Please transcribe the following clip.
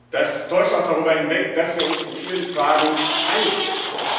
Das täuscht auch darüber hinweg, dass wir uns in vielen Fragen einig sind.